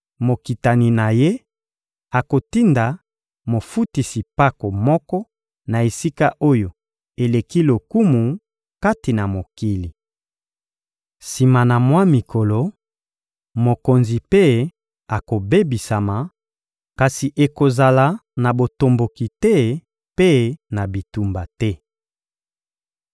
Mokitani na ye akotinda mofutisi mpako moko na esika oyo eleki lokumu kati na mokili. Sima na mwa mikolo, mokonzi mpe akobebisama, kasi ekozala na botomboki te mpe na bitumba te.